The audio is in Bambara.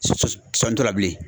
la bilen.